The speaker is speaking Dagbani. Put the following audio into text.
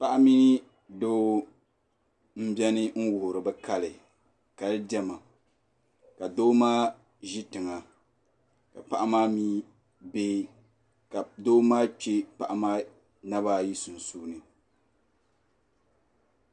Paɣi ni doo mbiɛni nwuhiri bi kali kali diɛma ka doo maa zi tiŋa ka doo maa kpɛ paɣi maa naba ayi sunsuuni